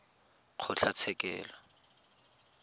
kgotlatshekelo